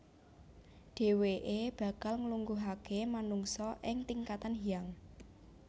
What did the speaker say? Dhèwèké bakal nglungguhaké manungsa ing tingkatan Hyang